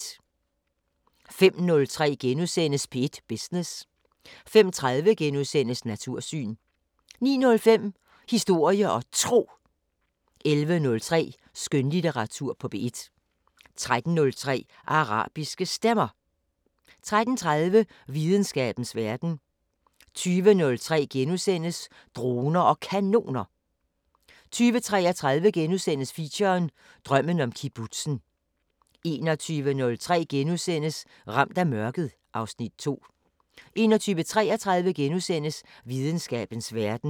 05:03: P1 Business * 05:30: Natursyn * 09:05: Historie og Tro 11:03: Skønlitteratur på P1 13:03: Arabiske Stemmer 13:30: Videnskabens Verden 20:03: Droner og Kanoner * 20:33: Feature: Drømmen om kibbutzen * 21:03: Ramt af mørket (Afs. 2)* 21:33: Videnskabens Verden *